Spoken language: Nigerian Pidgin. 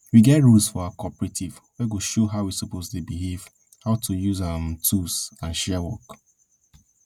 we get rules for our cooperative wey go show how we suppose dey behave how to use um tools and share work